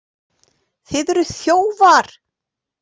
Þið eruð þjófar!